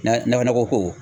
Na nakɔ nakɔko